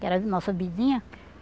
Que era nossa vizinha.